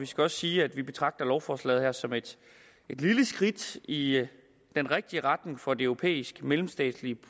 skal også sige at vi betragter lovforslaget her som et lille skridt i i den rigtige retning for det europæiske mellemstatslige